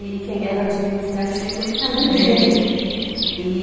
E quem é do administrativo que sabe bem. E